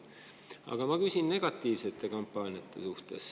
Aga ma küsin negatiivsete kampaaniate kohta.